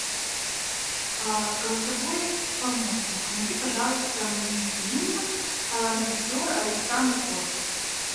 голосовой помощник найди пожалуйста мне фильм режиссер александр котт